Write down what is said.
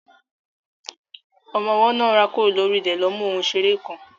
Ọmọ ọwọ́ náà rákòrò lórí ilẹ̀ lọ mú ohun ìṣeré kan.